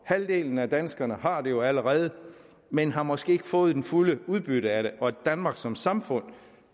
halvdelen af danskerne har det jo allerede men har måske ikke fået det fulde udbytte af det danmark som samfund